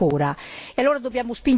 Probabilmente no, non ancora.